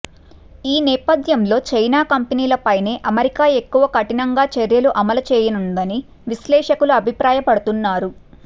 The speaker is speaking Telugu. ఈ నేపథ్యంలో చైనా కంపెనీలపైనే అమెరికా ఎక్కువ కఠినంగా చర్యలు అమలు చేయనుందని విశ్లేషకులు అభిప్రాయపడుతున్నారు